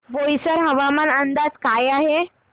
बोईसर हवामान अंदाज काय आहे